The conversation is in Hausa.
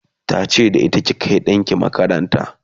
ta ce da ita"ki Kai ɗanki makaranta!"